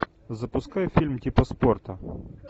запускай фильм типа спорта